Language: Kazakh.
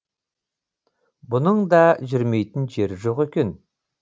бұның да жүрмейтін жері жоқ екен